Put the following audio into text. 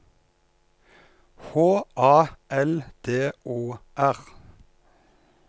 H A L D O R